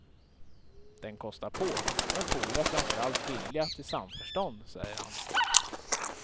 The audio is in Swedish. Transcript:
Den kostar på, men fodrar framför allt vilja till samförstånd, säger han.